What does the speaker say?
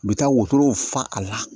U bɛ taa wotorow fa a la